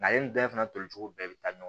Ale ni bɛɛ fana toli cogo bɛɛ bɛ taa ɲɔgɔn